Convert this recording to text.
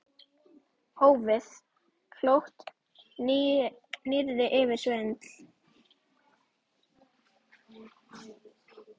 Hófið- Klókt nýyrði yfir svindl?